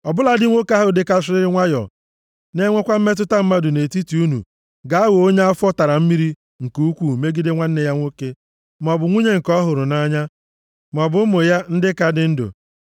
Ọ bụladị nwoke ahụ dịkasịrịrị nwayọọ na-enwekwa mmetụta mmadụ nʼetiti unu ga-aghọ onye afọ tara mmiri nke ukwuu megide nwanne ya nwoke, maọbụ nwunye nke ọ hụrụ nʼanya, maọbụ ụmụ ya, ndị ka dị ndụ.